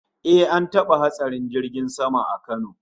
Eh, an taba hatsarin jirgin sama a Kano